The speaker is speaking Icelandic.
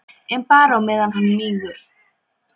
En bara á meðan hann mígur.